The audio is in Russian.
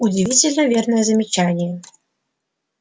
удивительно верное замечание